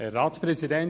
Kommissionssprecher